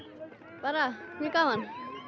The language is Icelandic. bara mjög gaman